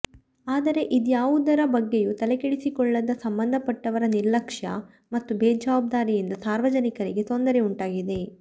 ಆದರೆ ಇದ್ಯಾವುದರ ಬಗ್ಗೆಯೂ ತಲೆಕೆಡಿಸಿಕೊಳ್ಳದ ಸಂಬಂಧಪಟ್ಟವರ ನಿರ್ಲಕ್ಷ್ಯ ಮತ್ತು ಬೇಜಾವಬ್ದಾರಿಯಿಂದ ನಾರ್ವಜನಿಕರಿಗೆ ತೊಂದರೆ ಉಂಟಾಗಿದೆ